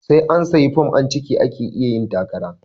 Sai an sayi fom an cika ake iya yin takara